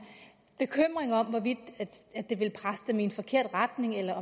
bekymring om hvorvidt det ville presse dem i en forkert retning eller